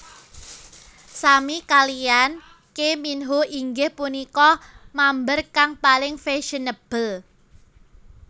Sami kaliyan Key Minho inggih punika mamber kang paling fashionable